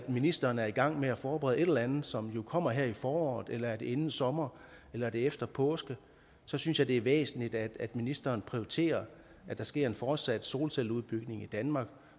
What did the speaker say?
ministeren er i gang med at forberede et eller andet som jo kommer her i foråret eller inden sommer eller er det efter påske så synes jeg det er væsentligt at ministeren prioriterer at der sker en fortsat solcelleudbygning i danmark